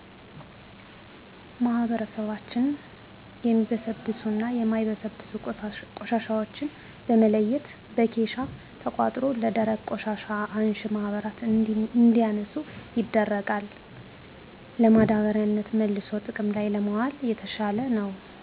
ማህበረሰባችን የሚበሰብሱና የማይበሰብሱ ቆሻሻዎችን በመለየት በኬሻ ተቆጥሮ ለደረቅ ቆሻሻ አንሺ ማህበር እንዲያነሱ ይደረጋል። ለማዳበሪያነት መልሶ ጥቅም ላይ ለማዋል የተሻለ ነው።